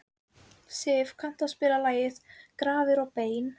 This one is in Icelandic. Siv, kanntu að spila lagið „Grafir og bein“?